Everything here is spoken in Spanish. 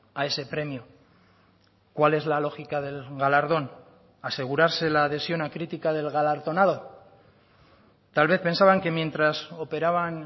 a ese premio cuál es la lógica del galardón asegurarse la adhesión a crítica del galardonado tal vez pensaban que mientras operaban